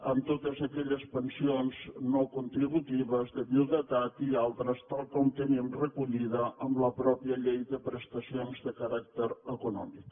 en totes aquelles pensions no contributives de viduïtat i altres tal com tenim recollit en la mateixa llei de prestacions de caràcter econòmic